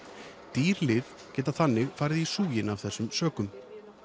dýr lyf geta þannig farið í súginn af þessum sökum